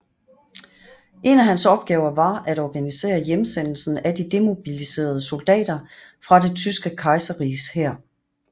En af hans opgaver var at organisere hjemsendelsen af de demobiliserede soldater fra Det tyske kejserriges hær